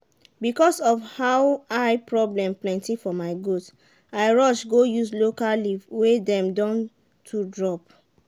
because of how eye problem plenty for my goat i rush go use local leaf wey dem don to drop.